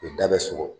U da bɛ sogo